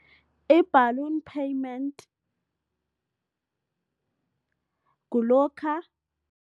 I-balloon payment kulokha